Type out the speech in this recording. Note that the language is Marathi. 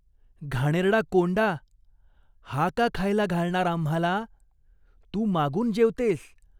घाणेरडा कोंडा, हा का खायला घालणार आम्हाला ? तू मागून जेवतेस.